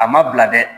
A ma bila dɛ